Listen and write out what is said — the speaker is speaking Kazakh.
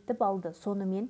адам келіп түсті